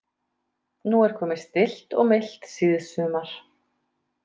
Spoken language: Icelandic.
Nú er komið stillt og milt síðsumar.